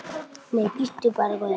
Nei, bíddu bara, góði.